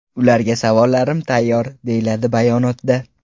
Ularga savollarim tayyor”, deyiladi bayonotda.